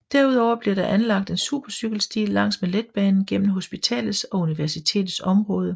Derudover bliver der anlagt en supercykelsti langs med letbanen gennem hospitalets og universitetets område